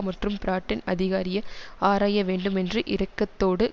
மற்றும் பிராட்டின் அதிகாரிய ஆராய வேண்டுமென்றும் இறக்கததோடு